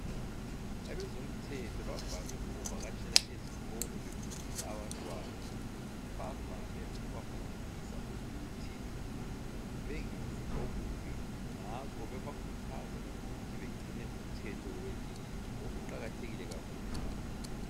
Abezomthetho bavame ukuvakatshela ezikolo befundisa abantwana. Bavame ukubafundisa ukuthi bengenzi okubi ngakho bebakhuthaza ukuthi begcine umthetho welizwe lokhu kuqakathekile kakhulu.